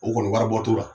O kɔni waribɔ t'o la